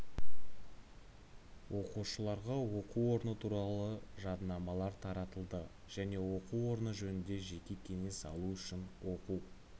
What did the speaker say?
оқушыларға оқу орны туралы жадынамалар таратылды және оқу орны жөнінде жеке кеңес алу үшін оқу